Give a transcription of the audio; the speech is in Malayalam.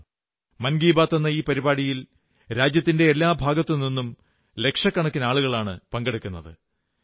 കാരണം മൻ കീ ബാത് എന്ന ഈ പരിപാടിയിൽ രാജ്യത്തിന്റെ എല്ലാ ഭാഗത്തുനിന്നും ലക്ഷക്കണക്കിന് ആളുകളാണ് പങ്കെടുക്കുന്നത്